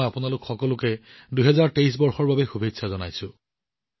মই আপোনালোকক ২০২৩ বৰ্ষৰ বাবে শুভকামনা জনাইছো